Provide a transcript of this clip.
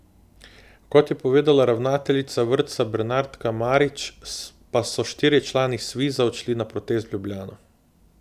Kot je povedala ravnateljica vrtca Bernardka Marič, pa so štirje člani Sviza odšli na protest v Ljubljano.